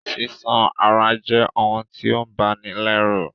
Sísán àráa je oun ti o bani lẹ́rù